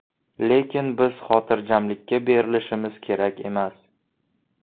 Lekin biz xotirjamlikka berilishimiz kerak emas.